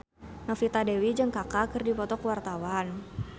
Novita Dewi jeung Kaka keur dipoto ku wartawan